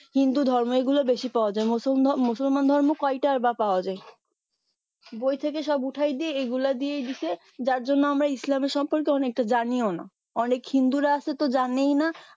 হিন্দু ধর্ম এইগুলো বেশি পাওয়া যায় মুসলিম ধর্ম মুসলমান ধর্ম কয়টাই বা পাওয়া যায় বই থেকে সব উঠায় দিয়ে এগুলা দিয়ে দিছে যার জন্য আমরা ইসলামের সম্পর্কে অনেকটা জানিও না অনেক হিন্দুরা আছে তো জানেই না